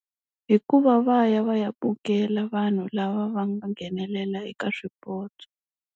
Hikuva va ya va ya vukela vanhu lava va nga nghenelela eka swipotso.